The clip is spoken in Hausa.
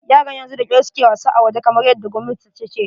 Yaran yanzu da kyar su ke wasa a waje, kamar yadda gwamnati ta ce.